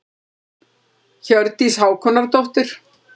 Hjördís Hákonardóttir.